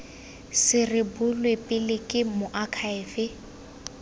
se rebolwe pele ke moakhaefe